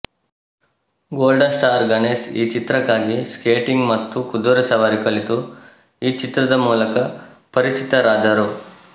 golden star Ganesh ಈ ಚಿತ್ರಕ್ಕಾಗಿ skating ಮತ್ತು ಕುದುರೆ ಸವಾರಿ ಕಲಿತು ಈ ಚಿತ್ರದ ಮೂಲಕ ಪರಿಚಿತರಾದರು